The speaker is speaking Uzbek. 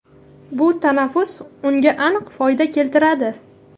Bu tanaffus unga aniq foyda keltiradi.